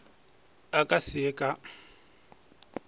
a ka se ye ka